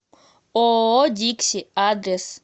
ооо дикси адрес